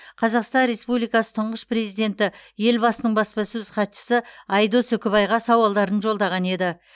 қазақстан республикасы тұңғыш президенті елбасының баспасөз хатшысы айдос үкібайға сауалдарын жолдаған еді